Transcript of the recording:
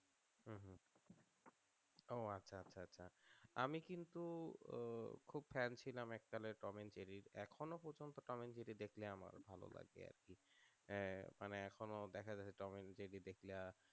ও আচ্ছা আচ্ছা আচ্ছা আমি কিন্তু আহ খুব fan ছিলাম এক কালে টম and জেরির এখনো পর্যন্ত টম এন্ড জেরি দেখলে আমার ভালো লাগে আর কি মানে এখনও দেখা গেল টম and জেরির